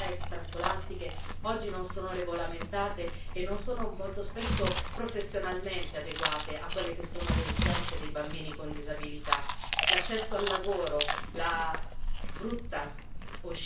Figure professionali in grado di accompagnare i bambini, per esempio nelle attività extrascolastiche, oggi non sono regolamentate e molto spesso non sono professionalmente adeguate a quelle che sono le esigenze dei bambini con disabilità.